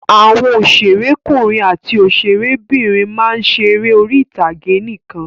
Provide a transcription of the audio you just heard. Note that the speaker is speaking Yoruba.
Àwọn òṣèré ọkùnrin àti òṣèré obìnrin máa ń ṣe eré orí ìtàgé nìkan.